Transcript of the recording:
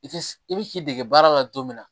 I tɛ i bi k'i dege baara la don min na